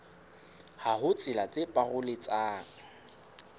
ha ho tsela tse paroletsang